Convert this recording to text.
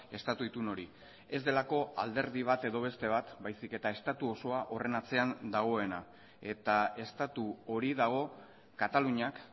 estatu itun hori ez delako alderdi bat edo beste bat baizik eta estatu osoa horren atzean dagoena eta estatu hori dago kataluniak